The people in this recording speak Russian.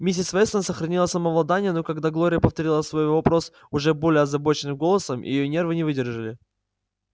миссис вестон сохранила самообладание но когда глория повторила свой вопрос уже более озабоченным голосом и её нервы не выдержали